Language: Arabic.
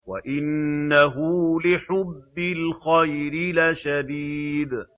وَإِنَّهُ لِحُبِّ الْخَيْرِ لَشَدِيدٌ